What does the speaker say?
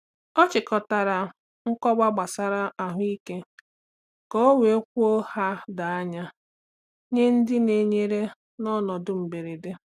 Ọ chịkọtara nkọwa gbasara ahụ ike ka o wee kwuo ha doo anya nye ndị na-enyere n’ọnọdụ mberede.